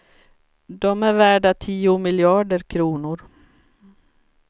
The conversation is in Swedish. De är värda tio miljarder kronor.